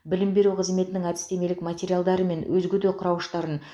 білім беру қызметінің әдістемелік материалдары мен өзге де құрауыштарын